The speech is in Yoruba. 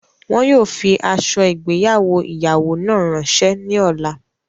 Wọn yóò fi ạso igbeyawo iyawo náà ranṣe ni ọla